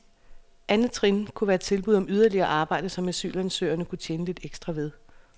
Andet trin kunne være tilbud om yderligere arbejde, som asylsøgerne kunne tjene lidt ekstra ved.